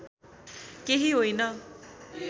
केही होइन